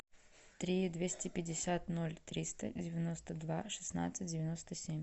три двести пятьдесят ноль триста девяносто два шестнадцать девяносто семь